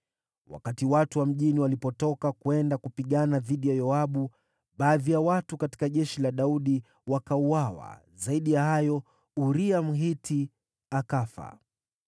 Wakati watu wa mjini walipotoka kwenda kupigana dhidi ya Yoabu, baadhi ya watu katika jeshi la Daudi wakauawa, zaidi ya hayo, Uria, Mhiti, akafa.